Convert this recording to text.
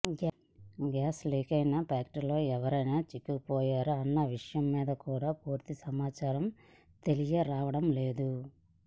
gas లీకైన ఫ్యాక్టరీలో ఎవరైనా చిక్కుకుపోయారా అన్న విషయం మీద కూడా పూర్తి సమాచారం తెలియరావడం లేదు